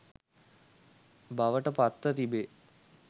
බවට පත්ව තිබේ.